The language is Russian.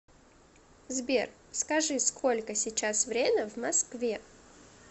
сбер скажи сколько сейчас время в москве